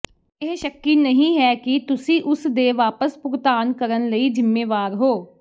ਇਹ ਸ਼ੱਕੀ ਨਹੀਂ ਹੈ ਕਿ ਤੁਸੀਂ ਉਸ ਦੇ ਵਾਪਸ ਭੁਗਤਾਨ ਕਰਨ ਲਈ ਜ਼ਿੰਮੇਵਾਰ ਹੋ